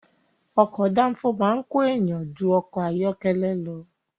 Ọkọ̀ dáńfó máa ń ko èèyàn jú ọkọ̀ ayọ́kẹ́lẹ́ lọ.